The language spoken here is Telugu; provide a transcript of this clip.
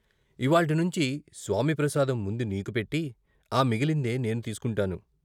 ఇవ్వాల్టి నుంచి స్వామి ప్రసాదం ముందు నీకు పెట్టి ఆ మిగిలిందే నేను తీసుకుంటాను.